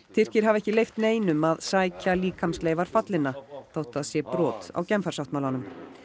Tyrkir hafa ekki leyft neinum að sækja líkamsleifar fallinna þótt það sé brot á Genfarsáttmálanum